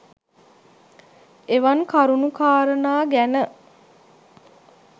එවන් කරුණු කාරණා ගැන